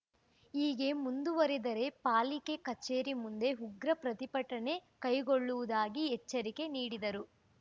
ಹೀಗೆ ಮುಂದುವರಿದರೆ ಪಾಲಿಕೆ ಕಚೇರಿ ಮುಂದೆ ಉಗ್ರ ಪ್ರತಿಭಟನೆ ಕೈಗೊಳ್ಳುವುದಾಗಿ ಎಚ್ಚರಿಕೆ ನೀಡಿದರು